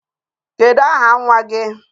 Kedu aha nwa gị?